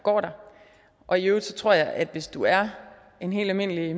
går der og i øvrigt tror jeg at hvis du er en helt almindelig